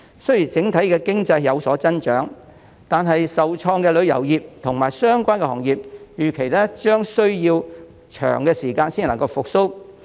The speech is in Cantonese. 雖然整體經濟有所增長，但受創的旅遊業及相關行業預期將需要一段長時間才能復蘇。